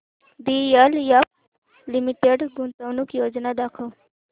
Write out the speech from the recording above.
DLF limited गुंतवणूक योजना दाखव